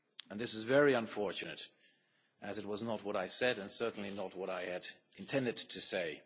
This is very unfortunate as it was not what I said, and certainly not what I had intended to say.